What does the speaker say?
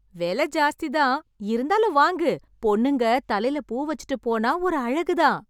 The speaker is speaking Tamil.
விலை ஜாஸ்தி தான். இருந்தாலும் வாங்கு.பொண்ணுங்க தலைல பூ வச்சுட்டுப் போனா ஒரு அழகு தான்!